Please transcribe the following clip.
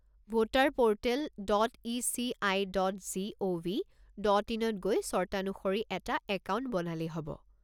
Voter portal dot ECI. Dot GOV. Dot ইনত গৈ চৰ্তানুসৰি এটা একাউণ্ট বনালেই হ'ব।